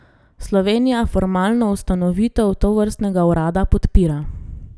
Slovenija formalno ustanovitev tovrstnega urada podpira.